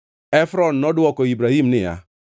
Efron nodwoko Ibrahim niya,